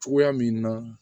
Cogoya min na